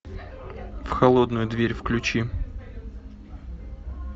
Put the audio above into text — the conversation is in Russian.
в холодную дверь включи